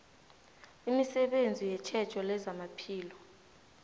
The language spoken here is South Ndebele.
imisebenzi yetjhejo lezamaphilo